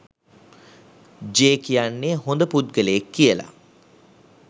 J කියන්නේ හොඳ පුද්ගලයෙක් කියලා